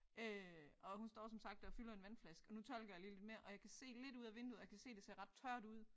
Øh og hun står som sagt og fylder en vandflaske og nu tolker jeg lige lidt mere og jeg kan se lidt ud af vinduet og jeg kan se det ser ret tørt ud